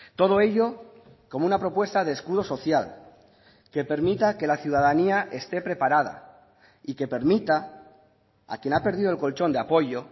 todo ello como una propuesta de escudo social que permita que la ciudadanía esté preparada y que permita a quien ha perdido el colchón de apoyo